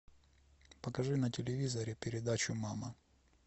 покажи на телевизоре передачу мама